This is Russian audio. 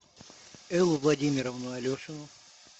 эллу владимировну алешину